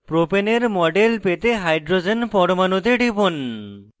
propane propane এর model পেতে hydrogen পরমাণুতে টিপুন